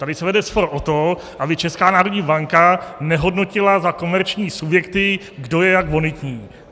Tady se vede spor o to, aby Česká národní banka nehodnotila za komerční subjekty, kdo je jak bonitní.